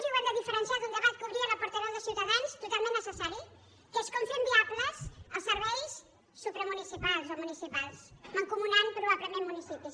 i ho hem de diferenciar d’un debat que obria la portaveu de ciutadans totalment necessari que és com fem viables els serveis supramunicipals o municipals mancomunant probablement municipis